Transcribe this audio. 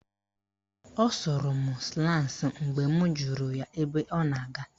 Ọ sụrụ m slans mgbe m jụrụ ya ebe ọ na-aga